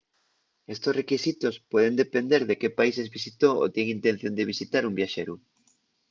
estos requisitos pueden depender de qué países visitó o tien intención de visitar un viaxeru